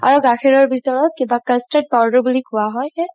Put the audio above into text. আৰু গাখিৰ ভিতৰত কিবা custard powder বুলি কুৱা হয়